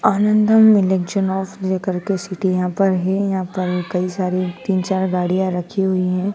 आनंदम election कर के city यहां पर है यहां पर कई सारे तीन चार गाड़ियां रखी हुई है।